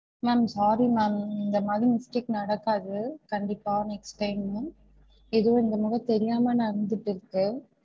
Ma'am sorry ma'am இந்த மாதிரி mistake நடக்காது கண்டிப்பா next time ஏதோ இந்த முறை தெரியாம நடந்துட்டு இருக்கு